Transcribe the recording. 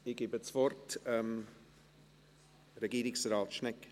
Ich gebe das Wort Regierungsrat Schnegg.